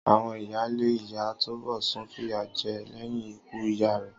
Àwon ìyáálé ìyá Túnbòsún fìyà jé é léyìn ikú ìyá rè